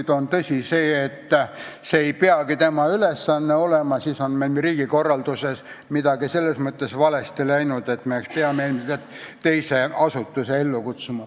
Kui on tõsi see, et see ei peagi tema ülesanne olema, siis on meil riigikorralduses midagi selles mõttes valesti läinud ja me peame ilmselt mõne teise asutuse ellu kutsuma.